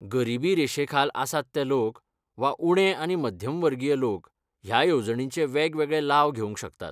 गरीबी रेशेखाल आसात ते लोक, वा उणे आनी मध्यमवर्गीय लोक ह्या येवजणींचे वेगवेगळे लाव घेवंक शकतात.